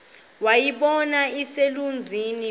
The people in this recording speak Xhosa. wayibona iselusizini waza